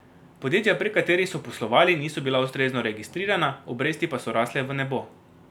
Podjetja, prek katerih so poslovali, niso bila ustrezno registrirana, obresti pa so rasle v nebo.